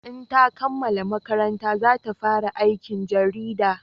In ta kammala makaranta za ta fara aikin jarida